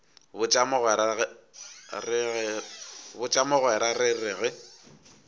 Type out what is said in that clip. botša mogwera re re ge